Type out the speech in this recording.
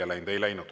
Ei läinud!